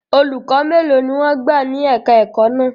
Olùkọ́ mélòó ni wọ́n gbà ní èka-ẹ̀kọ́ náà?